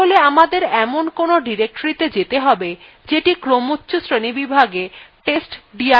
তাহলে আমাদের এমন কোনো directoryত়ে যেতে have যেটি ক্রমচ্ছ শ্রেণীবিভাগে testdirএর থেকে উপরে আছে